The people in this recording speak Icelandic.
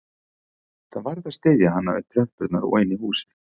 Hann varð að styðja hana upp tröppurnar og inn í húsið